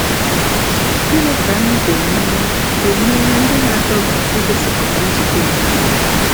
Gịnị ka anyị ga-emere ga-emere ndị na-adọga igosipụta njide onwe?